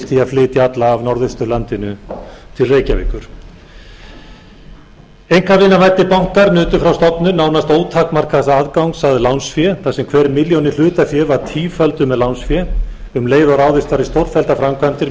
flytja alla af norðausturlandinu til reykjavíkur einkavinavæddir bankar nutu frá stofnun nánast ótakmarkaðs aðgangs að lánsfé þar sem hver milljón í hlutafé var tífölduð með lánsfé um leið og ráðist var í stórtækar framkvæmdir